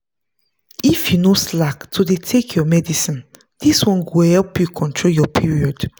if you no slack to dey take your medicine this one go help you control your period.